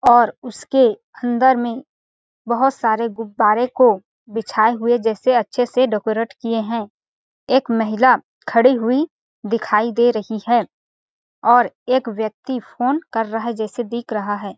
और उसके अन्दर में बहोत सारे गुब्बारे को बिछाऐ हुए जैसे अच्छे से डेकोरेट किए है एक महिला खड़ी हुई दिखाई दे रही है और एक व्यक्ती फ़ोन कर रहा है जैसे दिख रहा है।